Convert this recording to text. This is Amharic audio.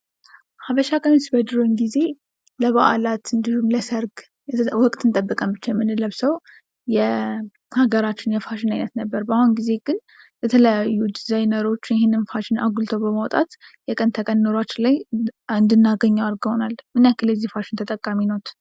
ሀበሻ ቀሚስ በድሮ ጊዜ ለበዓላት እንዲሁም ለሰርግ ወቅት ብቻ ጠብቀን የምንለብሰው የሀገራችን የፋሽን አይነት ነበር ፤ በአሁኑ ጊዜ ግን የተለያዩ ፋሽን ዲዛይነሮች ይሄን ነገር አጉልቶ በማውጣት የቀን ተቀን ኑሯችን ላይ እንድናገኘው አድርገውናል። ምን ያክል የዚህ ፋሽን ተጠቃሚ ነዎት?